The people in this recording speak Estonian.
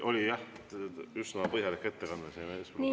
Oli jah üsna põhjalik ettekanne siin eespool ka.